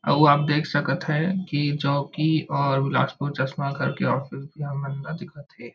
आऊ आप देख सकत है की चौकी और बिलासपुर चश्मा कर के ऑफिस भी हमन ला दिखत हे।